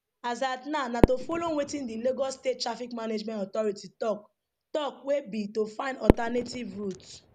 as at now na to follow wetin di lagos state traffic management authority tok tok wey be to find alternative routes